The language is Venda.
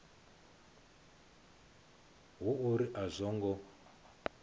hu uri a zwo ngo